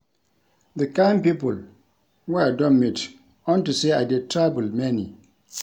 The kin people wey I don meet unto say I dey travel many